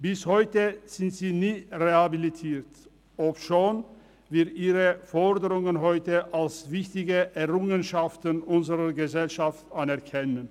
Bis heute sind sie nie rehabilitiert worden, obschon wir ihre Forderungen heute als wichtige Errungenschaften unserer Gesellschaft anerkennen.